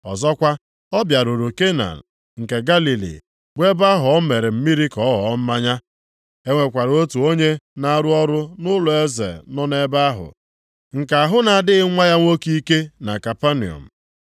Ọzọkwa, ọ bịaruru Kena nke Galili bụ ebe ahụ o mere mmiri ka ọ ghọọ mmanya. E nwekwara otu onye na-arụ ọrụ nʼụlọeze nọ nʼebe ahụ, nke ahụ na-adịghị nwa ya nwoke ike na Kapanọm.